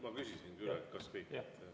Ma küsisingi üle, et kas kõik.